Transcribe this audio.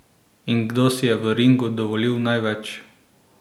In kdo si je v ringu dovolil največ?